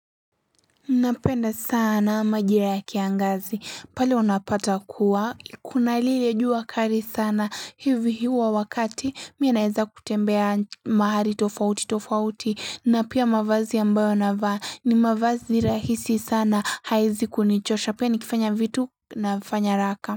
Nampenda sana majira ya kiangazi pale wanapata kuwa kuna lile jua kali sana hivi huwa wakati mimi naweza kutembea mahali tofauti tofauti na pia mavazi ambayo na vaa ni mavazi rahisi sana haiwezi kunichosha pia nikifanya vitu na vifanya raka.